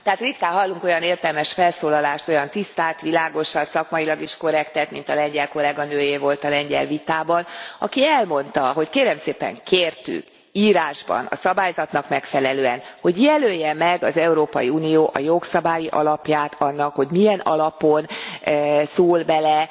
Tehát ritkán hallunk olyan értelmes felszólalást, olyan tisztát, világosat, szakmailag is korrektet, mint a lengyel kolléganőé volt a lengyel vitában, aki elmondta, hogy kérem szépen, kértük írásban, a szabályzatnak megfelelően, hogy jelölje meg az Európai Unió a jogszabályi alapját annak, hogy milyen alapon szól bele